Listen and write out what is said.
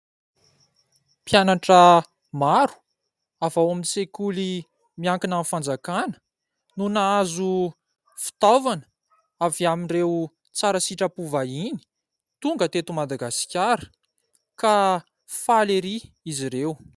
Mpianatra maro ,avy ao amin'ny sekoly miankina amin'ny fanjakana no nahazo fitaovana avy amin'ireo tsara sitrapo vahiny tonga teto madagasikara ka faly ery izy ireo .